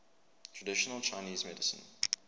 traditional chinese medicine